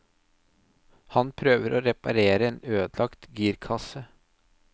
Han prøver å reparere en ødelagt girkasse.